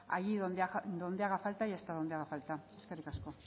allí donde haga falta y hasta donde haga falta eskerrik asko